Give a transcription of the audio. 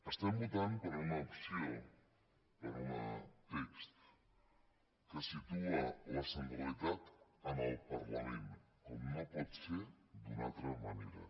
estem votant per una opció per un text que situa la centralitat en el parlament com no pot ser d’una altra manera